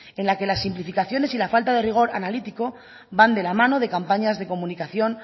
en las que las simplificaciones y la falta de rigor analítico van de la mano de campañas de comunicación